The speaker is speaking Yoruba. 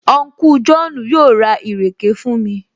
Unku Jọ́ọ̀nù yóò ra ìrèké fún mi